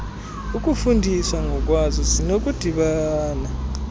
ukuzifundisa ngokwazo zinokudibana